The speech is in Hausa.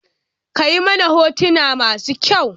Kayi mana hotona masu kyau?